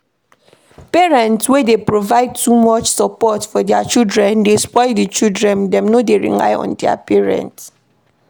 Parent wey dey provide too much support for their children dey spoil di children, dem no dey rely on their parent